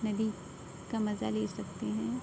नदी का मज़ा ले सकते हैं।